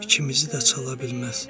İkimizi də çala bilməz.